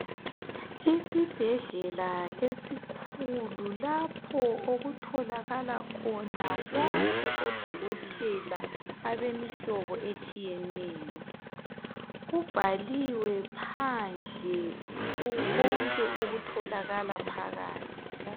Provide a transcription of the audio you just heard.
Isibhedlela esikhulu lapho okutholakala khona bonke odokotela abemihlobo etshiyeneyo. Kubhaliwe phandle konke okutholakala phakathi.